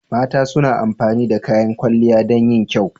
Mata suna amfani da kayan kwalliya dan yin kyau.